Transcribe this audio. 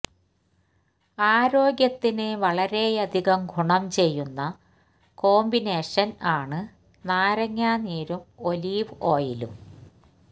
ആരോഗ്യത്തിന് വളരെയധികം ഗുണം ചെയ്യുന്ന കോംപിനേഷന് ആണ് നാരങ്ങ നീരും ഒലീവ് ഓയിലും